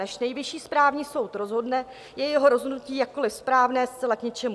Než Nejvyšší správní soud rozhodne, je jeho rozhodnutí, jakkoli správné, zcela k ničemu.